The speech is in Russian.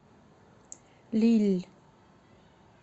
лилль